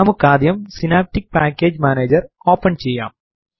നമുക്കാദ്യം synaptic package manager open ചെയ്യാം